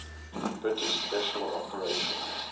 british special operations